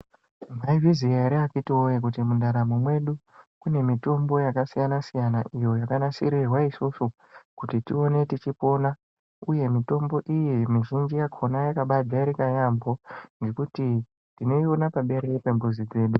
Mwaizviziya ere akithi voye kuti munharamo mwedu kune mitombo yakasiyana-siyana iyo yakanasirirwa isisu kuti tione tichipona, uye mitombo iyi mizhinji yakona yakabajairika yaambo ngekuti tinoiona paberere pemuzi pedu.